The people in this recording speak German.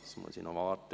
Ich muss noch warten.